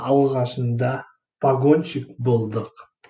алғашында пагонщик болдық